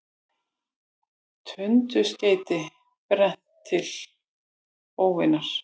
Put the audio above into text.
Tundurskeyti brennt til örvunar